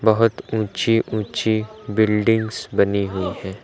बहुत ऊंची ऊंची बिल्डिंग्स बनी हुई हैं।